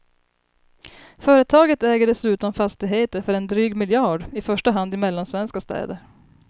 Företaget äger dessutom fastigheter för en dryg miljard, i första hand i mellansvenska städer.